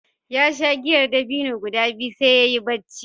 Ya sha giyar dabino guda biyu sai ya yi barci.